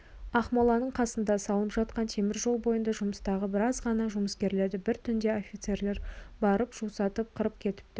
ақмоланың қасында салынып жатқан темір жол бойында жұмыстағы біраз ғана жұмыскерлерді бір түнде офицерлер барып жусатып қырып кетіпті